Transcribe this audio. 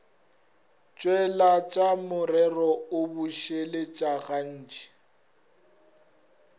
tšweletša morero o bušeletša gantši